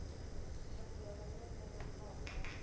t hanziela yo nekedzwaho nga